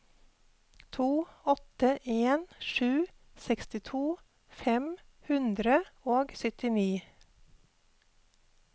to åtte en sju sekstito fem hundre og syttini